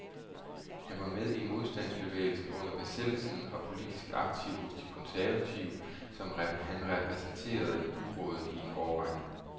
Han var med i modstandsbevægelsen under besættelsen og politisk aktiv hos de konservative, som han repræsenterede i byrådet i en årrække.